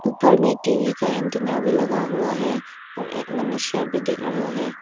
ऊपर मे टीवी का एंटीना भी लगा हुआ है और एक मनुष्य भी दिख रहा है।